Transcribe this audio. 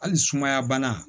Hali sumaya bana